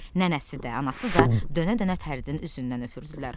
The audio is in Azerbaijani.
Nənəsi də, anası da dönə-dönə Fəridin üzündən öpürdülər.